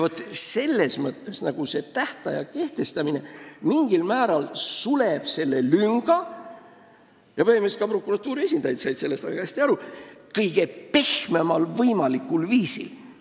Nii et see tähtaja kehtestamine mingil määral suleb selle lünga – ja põhimõtteliselt said ka prokuratuuri esindajad sellest väga hästi aru – kõige pehmemal võimalikul viisil.